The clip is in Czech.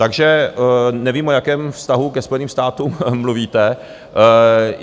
Takže nevím, o jakém vztahu ke Spojeným státům mluvíte.